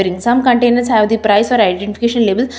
some containers have the price or identification label.